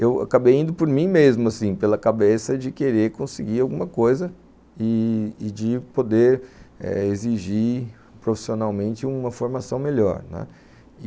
Eu acabei indo por mim mesmo assim, pela cabeça de querer conseguir alguma coisa e de poder exigir profissionalmente uma formação melhor, né. E...